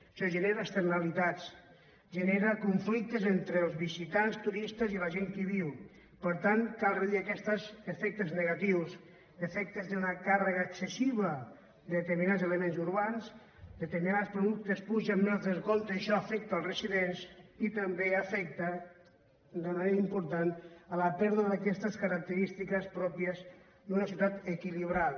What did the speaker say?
això genera externalitats genera conflictes entre els visitants turistes i la gent que hi viu per tant cal reduir aquests efectes negatius efectes d’una càrrega excessiva de determinats elements urbans determinats productes pugen més del compte i això afecta els residents i també afecta d’una manera important amb la pèrdua d’aquestes característiques pròpies d’una ciutat equilibrada